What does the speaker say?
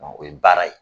O ye baara ye